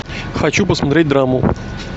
хочу посмотреть драму